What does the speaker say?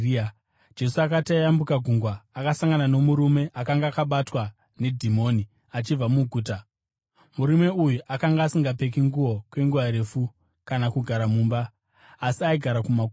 Jesu akati ayambuka gungwa, akasangana nomurume akanga akabatwa nedhimoni achibva muguta. Murume uyu akanga asingapfeki nguo kwenguva refu kana kugara mumba, asi aigara kumakuva.